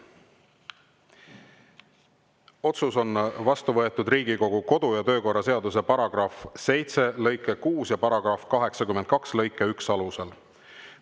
Otsus on vastu võetud Riigikogu kodu‑ ja töökorra seaduse § 7 lõike 6 ja § 82 lõike 1 alusel.